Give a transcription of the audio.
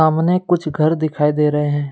सामने कुछ घर दिखाई दे रहे है।